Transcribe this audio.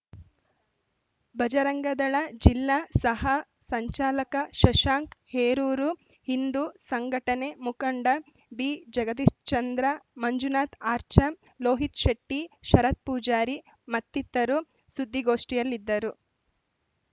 ಬಜರಂಗದಳ ಜಿಲ್ಲಾ ಸಹ ಸಂಚಾಲಕ ಶಶಾಂಕ್‌ ಹೇರೂರು ಹಿಂದೂ ಸಂಘಟನೆ ಮುಖಂಡ ಬಿಜಗದೀಶ್ಚಂದ್ರ ಮಂಜುನಾಥ್‌ ಆಚಾರ್‌ ಲೋಹಿತ್‌ಶೆಟ್ಟಿ ಶರತ್‌ಪೂಜಾರಿ ಮತ್ತಿತರರು ಸುದ್ದಿಗೋಷ್ಠಿಯಲ್ಲಿದ್ದರು